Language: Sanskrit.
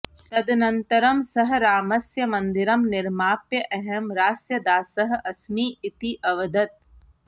तदनन्तरं सः रामस्य मन्दिरं निर्माप्य अहं रास्य दासः अस्मि इति अवदत्